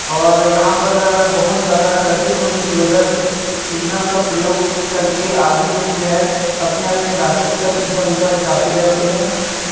और यहां पर बहुत ज्यादा ट्रैफिक होने की वजह से सिग्नल का प्रयोग करके आदमी लोग जो है अपने-अपने रास्ते पर इधर-उधर जाते रहते हैं।